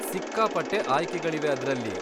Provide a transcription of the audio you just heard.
ಸಿಕ್ಕಾಪಟ್ಟೆ ಆಯ್ಕೆಗಳಿವೆ ಅದ್ರಲ್ಲಿ.